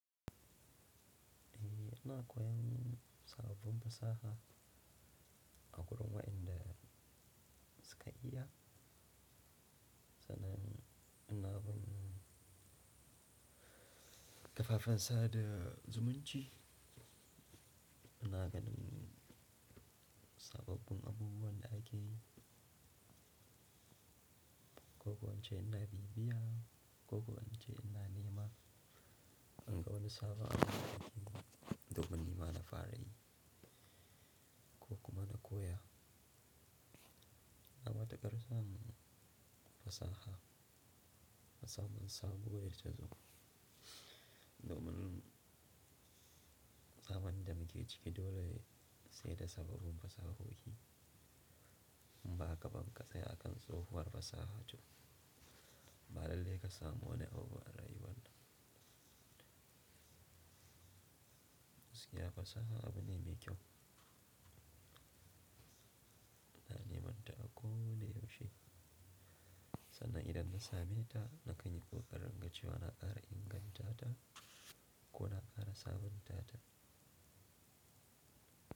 Eh, ana koyan sababbin fasaha a wurin waɗanda suka iya, sannan ana bin kafafen sada zumunci, ana ganin sababbin abubuwan da ake, ko kuwa wance ina bibiya, ko kuwa wance ina nema, in ga wani sabo ana koyarwa domin nema na fara yi ko kuma na koya. Na mata ƙarsan fasaha, fasahar sabo ita tazo domin zamanin da muke ciki dole sai da sababbin fasahohi. Mba ka banƙasa yakan tsohuwar fasaha ce, ba dalilai ka samo wani abu a rayuwan ka. Musiya fasaha abu ne mai kyau. Ana neman ta a ko wane yau she. Sannan idan na same ta na kai ni tsohuwar rangace wa na ƙara inganta ta ko na ƙara sabunta ta.